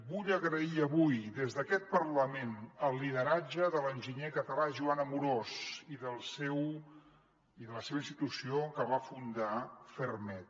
vull agrair avui des d’aquest parlament el lideratge de l’enginyer català joan amorós i de la seva institució que va fundar ferrmed